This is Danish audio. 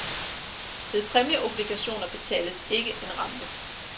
Ved præmieobligationer betales ikke en rente.